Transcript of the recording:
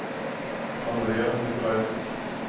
Andrea Nicolaisen